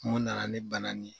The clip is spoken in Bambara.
Mun na na ni bana nin ye.